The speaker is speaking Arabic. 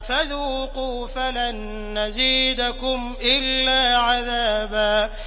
فَذُوقُوا فَلَن نَّزِيدَكُمْ إِلَّا عَذَابًا